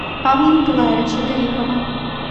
павла николаевича гарипова